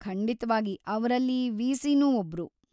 ಖಂಡಿತ್ವಾಗಿ, ಅವ್ರಲ್ಲಿ ವಿ.ಸಿ.ನೂ ಒಬ್ರು.